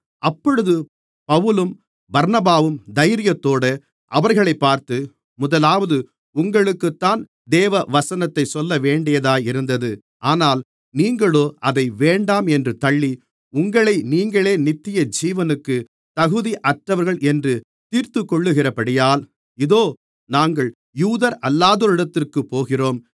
அப்பொழுது பவுலும் பர்னபாவும் தைரியத்தோடு அவர்களைப் பார்த்து முதலாவது உங்களுக்குத்தான் தேவவசனத்தைச் சொல்லவேண்டியதாயிருந்தது ஆனால் நீங்களோ அதை வேண்டாம் என்று தள்ளி உங்களை நீங்களே நித்தியஜீவனுக்கு தகுதியற்றவர்கள் என்று தீர்த்துக்கொள்ளுகிறபடியால் இதோ நாங்கள் யூதரல்லாதோர்களிடத்திற்குப் போகிறோம்